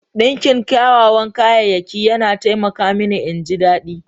Dinki kyawawan kayayyaki yana taimaka mini in ji daɗi.